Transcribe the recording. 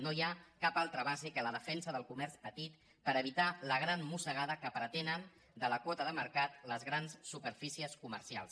no hi ha cap altra base que la defensa del co·merç petit per evitar la gran mossegada que pretenen de la quota de mercat les grans superfícies comercials